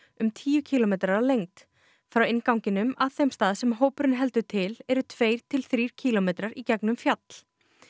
um tíu kílómetrar að lengd frá innganginum að þeim stað sem hópurinn heldur til eru tveir til þrír kílómetrar í gegnum fjall